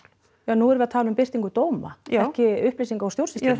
já nú erum við að tala um birtingu dóma já ekki upplýsinga úr stjórnsýslunni